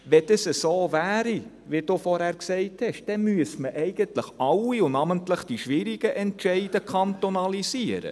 Wenn dies so wäre, wie er gesagt hat, müsste man eigentlich alle, und namentlich die schwierigen Entscheide, kantonalisieren.